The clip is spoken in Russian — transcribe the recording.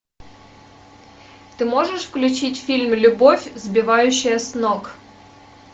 ты можешь включить фильм любовь сбивающая с ног